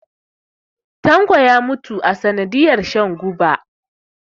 tanko ya mutu sanadiyar shan guba